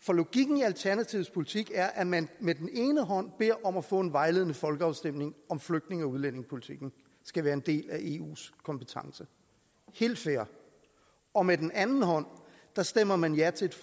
for logikken i alternativets politik er at man med den ene hånd beder om at få en vejledende folkeafstemning om flygtninge og udlændingepolitikken skal være en del af eus kompetence helt fair og med den anden hånd stemmer man ja til